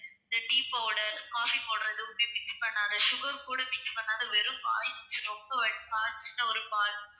இந்த tea powder, coffee powder எதுவுமே mix பண்ணாத sugar கூட mix பண்ணாத வெறும் பால் ரொம்ப காய்ச்சுன ஒரு பால்.